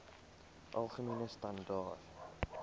algemene standaar